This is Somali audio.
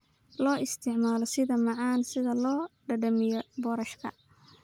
Loo isticmaalo sida macaan si loo dhadhamiyo boorashka.